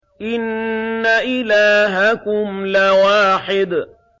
إِنَّ إِلَٰهَكُمْ لَوَاحِدٌ